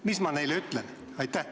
Mis ma neile ütlen?